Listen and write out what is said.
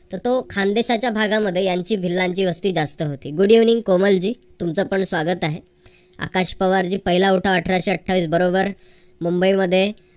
तर तो खानदेशाचा भागामध्ये यांची भिल्लांची वस्ती जास्त होती. good evening कोमल जी तुमचं पण स्वागत आहे. आकाश पवारजी पहिला उठाव अठराशे अठ्ठावीस बरोबर मुंबईमध्ये